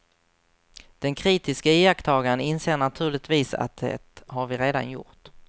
Den kritiske iakttagaren inser naturligtvis att det har vi redan gjort.